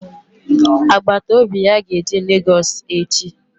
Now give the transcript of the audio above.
Agbataobi ya ga-eje Lagos echi